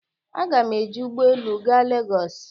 A ga m eji ụgbọ elu gaa Legos.